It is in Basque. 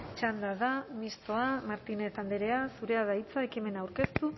txanda da mistoa martínez andrea zurea da hitza ekimena aurkeztu